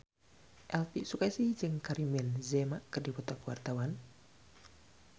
Elvi Sukaesih jeung Karim Benzema keur dipoto ku wartawan